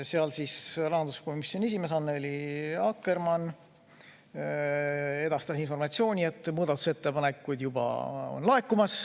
Seal rahanduskomisjoni esimees Annely Akkermann edastas informatsiooni, et muudatusettepanekuid juba laekub.